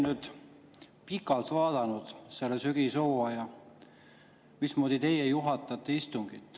Ma olen pikalt vaadanud sellel sügishooajal, mismoodi teie istungit juhatate.